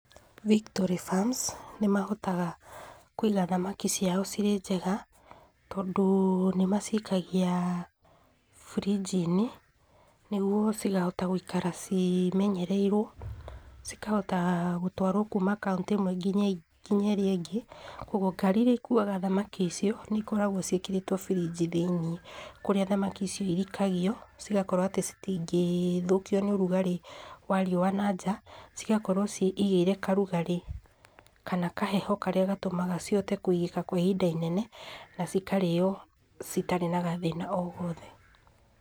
Victory Farms nĩ mahotaga kũiga thamaki ciao cirĩ njega, tondũ nĩmacikagia fridge -inĩ, nĩguo cikahota gũikara cimenyereirwo, cikahota gũtwarwo kuuma kaũntĩ ĩmwe nginya ĩrĩa ingĩ, koguo ngari iria ikuwa thamaki icio, nĩ ikoragwo ciĩkĩrĩtwo fridge thĩinĩ, kũrĩa thamaki icio irikagio, cigakorwo atĩa citingĩthũkio nĩ rugarĩ wa riowa nanja, cigakorwo ciĩigĩire karugarĩ, kana kaheho karĩa gatumaga cihote kũigĩka kwa ihinda inene, na cikarĩo citarĩ na gathĩna o gothe.